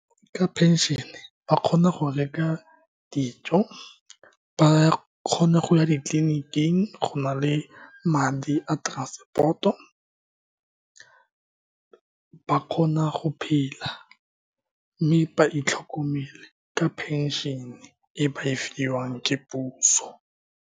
Ka pension-ne, ba kgona go reka dijo. Ba kgona go ya ditleliniking, go na le madi a transport-o. Ba kgona go phela, mme ba itlhokomele ka pension-e e ba e fiwang ke puso.